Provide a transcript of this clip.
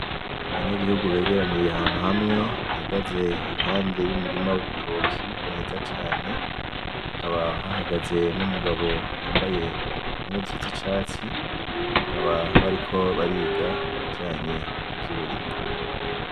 Abanyagihugu begeraniye ahantu hamwe bahageze iruhande yumurima w'ibitoki mwiza cane, hakaba hahagaze n'umugabo yamabaye impuzu zicatsi, bakaba bariko bariga ibijanye n'ivyuburimyi .